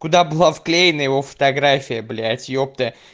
куда была вклеена его фотография блять ёпта